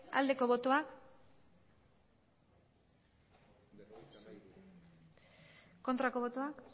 aldeko botoak aurkako botoak